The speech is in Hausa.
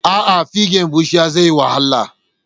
Aa fige bushiya zaiyi wahala